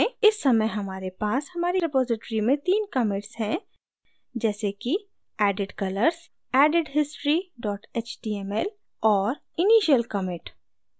इस समय हमारे पास हमारी रिपॉज़िटरी में तीन commits हैं जैसे कि added colors added history html और initial commit